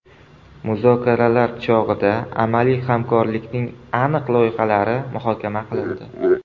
Muzokaralar chog‘ida amaliy hamkorlikning aniq loyihalari muhokama qilindi.